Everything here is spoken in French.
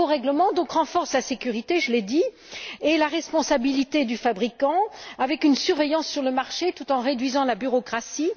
Ce nouveau règlement renforce la sécurité, je l'ai dit, et la responsabilité du fabricant avec une surveillance sur le marché tout en réduisant la bureaucratie.